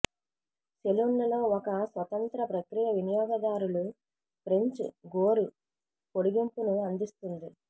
సెలూన్లలో ఒక స్వతంత్ర ప్రక్రియ వినియోగదారులు ఫ్రెంచ్ గోరు పొడిగింపును అందిస్తుంది